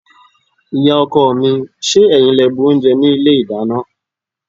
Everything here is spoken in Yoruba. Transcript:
Ìyá-ọkọ mi, ṣé ẹ̀yin lẹ bu oúnjẹ ní ilé-ìdáná?